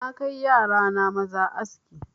Na kai yara na maza aski